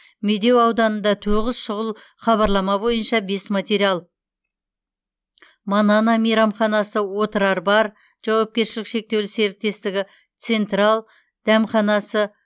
медеу ауданында тоғыз шұғыл хабарлама бойынша бес материал манана мейрамханасы отрар бар жауапкершілігі шектеулі серіктестігі централ дәмханасы